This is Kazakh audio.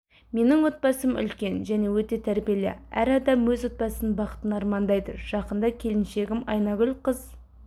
менің отбасым үлкен және өте тәрбиелі әр адам өз отбасының бақытын армандайды жақында келіншегім айнагүл қыз